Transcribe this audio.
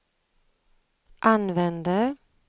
använde